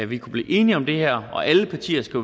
vi kunne blive enige om det her og alle partier skal